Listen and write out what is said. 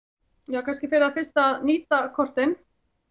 er kannski fyrir það fyrsta nýta kortin